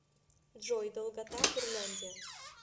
джой долгота курляндия